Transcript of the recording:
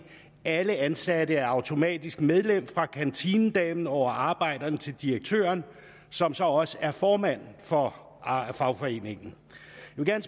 alle ansatte er automatisk medlem fra kantinedamen over arbejderen til direktøren som så også er formand for fagforeningen